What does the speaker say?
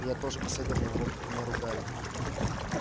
и я тоже последовал его примеру гарри